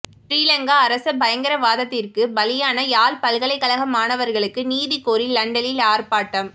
ஶ்ரீலங்கா அரச பயங்கரவாதத்திற்கு பலியான யாழ் பல்கலைக்கழக மாணவர்களுக்கு நீதி கோரி லண்டனில் ஆர்ப்பாட்டம்